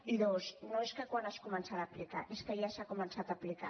i dos no és quan es començarà a aplicar és que ja s’ha començat a aplicar